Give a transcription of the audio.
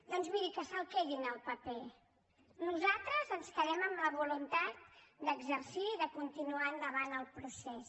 doncs miri que se’l quedin el paper nosaltres ens quedem amb la voluntat d’exercir i de continuar endavant el procés